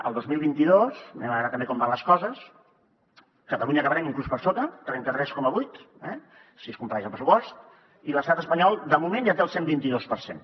el dos mil vint dos anem a veure també com van les coses catalunya acabarem inclús per sota trenta tres coma vuit si es compleix el pressupost i l’estat espanyol de moment ja té el cent i vint dos per cent